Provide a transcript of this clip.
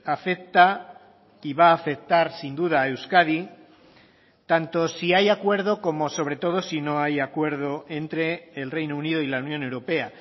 afecta y va a afectar sin duda a euskadi tanto si hay acuerdo como sobre todo si no hay acuerdo entre el reino unido y la unión europea